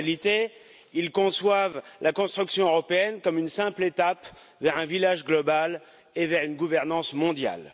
En réalité, ils conçoivent la construction européenne comme une simple étape vers un village global et vers une gouvernance mondiale.